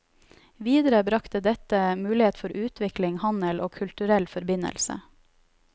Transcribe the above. Videre, brakte dette mulighet for utvikling, handel og kulturell forbindelse.